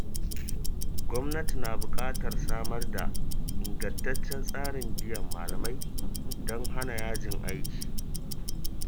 Gwamnati na buƙatar samar da ingantaccen tsarin biyan malamai don hana yajin aiki.